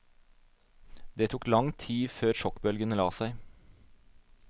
Det tok lang tid før sjokkbølgene la seg.